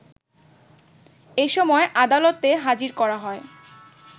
এসময় আদালতে হাজির করা হয়